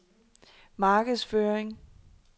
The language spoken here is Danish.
markedsføring